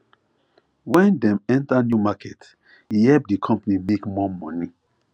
when dem enter new market e help di company make more money